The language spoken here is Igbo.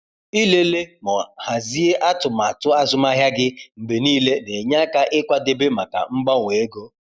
Ịlele ma hazie atụmatụ azụmahịa gị mgbe niile na-enye aka ịkwadebe maka mgbanwe ego.